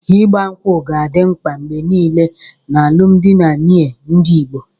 Ịgba ṅkwú ga-adị mkpa mgbe nile n'alụmdi na nwunye ndị Igbo.